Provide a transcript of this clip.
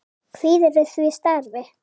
Kvíðirðu því starfi?